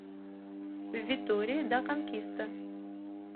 витория да конкиста